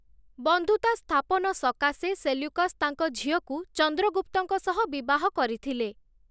ବନ୍ଧୁତା ସ୍ଥାପନ ସକାଶେ ସେଲ୍ୟୁକସ୍‌ ତାଙ୍କ ଝିଅକୁ ଚନ୍ଦ୍ରଗୁପ୍ତଙ୍କ ସହ ବିବାହ କରିଥିଲେ ।